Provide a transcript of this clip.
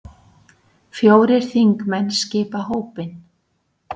Fjórir þingmenn skipa hópinn.